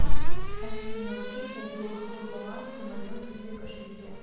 афина окей гугл какой баланс на моем киви кошельке